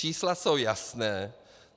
Čísla jsou jasná.